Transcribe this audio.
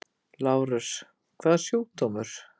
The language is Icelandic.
LÁRUS: Hvaða sjúkdómur?